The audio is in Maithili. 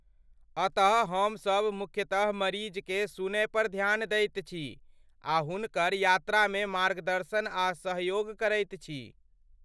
अतः हमसभ मुख्यतः मरीजकेँ सुनयपर ध्यान दैत छी आ हुनकर यात्रामे मार्गदर्शन आ सहयोग करैत छी।